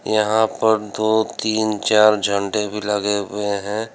यहां पर दो तीन चार झंडे भी लगे हुए है।